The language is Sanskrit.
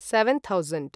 seven thousand